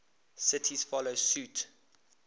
cities follow suit